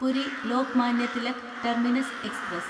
Puri Lokmanya Tilak terminus express